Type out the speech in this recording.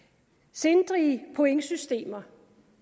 sindrige pointsystemer